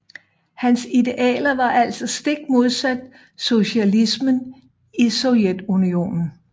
Hans idealer var altså stikmodsat socialismen i Sovjetunionen